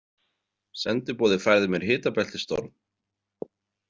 Sendiboði færði mér hitabeltisstorm.